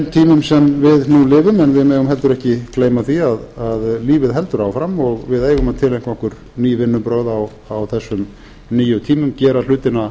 við nú lifum við megum heldur ekki gleyma því að lífið heldur áfram og við eigum að tileinka okkur ný vinnubrögð á þessum nýju tímum gera hlutina